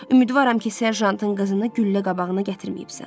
Ümidvaram ki, serjantın qızını güllə qabağına gətirməyibsən.